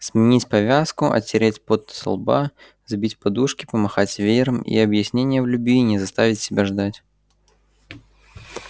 сменить повязку отереть пот со лба взбить подушки помахать веером и объяснение в любви не заставит себя ждать